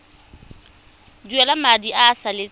duela madi a a salatseng